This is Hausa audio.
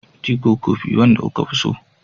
Tea ko kofi, wanda kuke so?